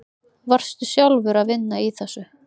Varstu sjálfur að vinna í þessu?